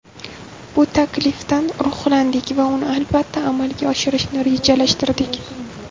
Bu taklifdan ruhlandik va uni albatta, amalga oshirishni rejalashtirdik.